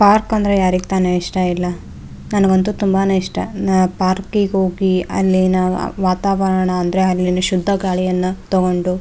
park ಅಂದ್ರೆ ಯಾರಿಗ್ ತಾನೆ ಇಷ್ಟ ಇಲ್ಲ ನನ್ಗಂತೂ ತುಂಬಾನೆ ಇಷ್ಟ ಪಾರ್ಕ್ ಗೆ ಹೋಗಿ ಅಲ್ಲಿನ ವಾತಾವರಣ ಅಂದ್ರೆ ಅಲ್ಲಿನ ಶುದ್ದ ಗಾಳಿಯನ್ನ ತಗೊಂಡು --